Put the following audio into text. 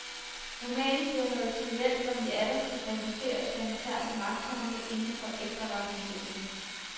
Romanen bliver noget triviel når vi atter skal præsenteres for interne magtkampe inden for efterretningsvæsenet.